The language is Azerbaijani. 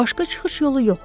Başqa çıxış yolu yox idi.